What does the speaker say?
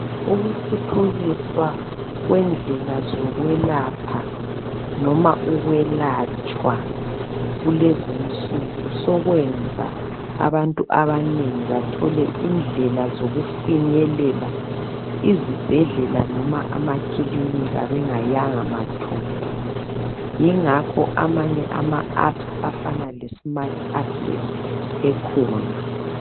ukuthuthukiswa kwendlela zokwelapha noma ukwelatshwa kulezinsuku sokwenza abantu abanengi bathole indlela zokufinyelela izibhedlela loba amakilinika bengayanga mathupha yingakho amanye ama appa afana le smart access ekhona